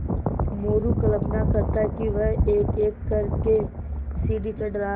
मोरू कल्पना करता कि वह एकएक कर के सीढ़ी चढ़ रहा है